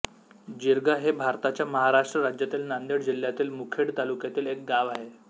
जिरगा हे भारताच्या महाराष्ट्र राज्यातील नांदेड जिल्ह्यातील मुखेड तालुक्यातील एक गाव आहे